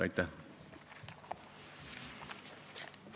Aitäh!